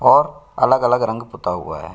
और अलग-अलग रंग पुता हुआ है।